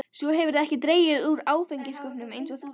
Svo hefurðu ekki dregið úr áfengiskaupunum eins og þú lofaðir.